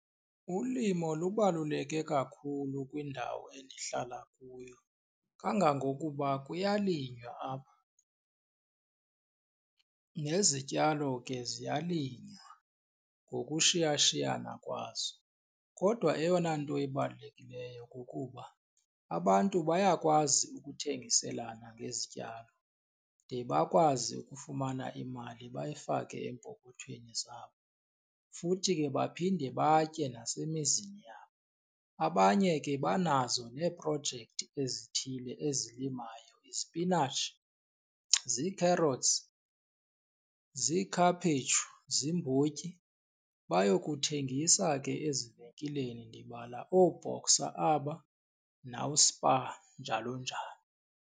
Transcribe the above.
Ulimo lubaluleke kakhulu kwindawo endihlala kuyo kangangokuba kuyalinywa apha nezityalo ke ziyalinywa ngokushiyashiyana kwazo. Kodwa eyona nto ibalulekileyo kukuba abantu bayakwazi ukuthengiselana ngezityalo de bakwazi ukufumana imali bayifake eempokothweni zabo futhi ke baphinde batye nasemizini yabo. Abanye ke banazo neeprojekthi ezithile ezilimayo izipinatshi, zii-carrots, ziikhaphetshu, ziimbotyi, bayokuthengisa ke ezivenkileni ndibala ooBoxer aba nawuSpar, njalo njalo.